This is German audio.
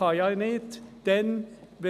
Das ist ihr Zweck.